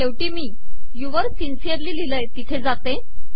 अखेरीस मी yours sincerely लिहिले आहे ते येथे येते